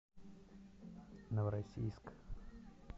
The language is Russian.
новороссийск